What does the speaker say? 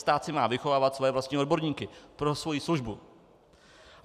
Stát si má vychovávat svoje vlastní odborníky pro svoji službu.